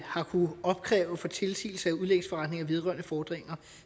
har kunnet opkræve for tilsigelse af udlægsforretninger vedrørende fordringer